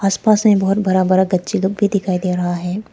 आस पास में बहोत बड़ा बड़ा गच्छे लोग भी दिखाई दे रहा है।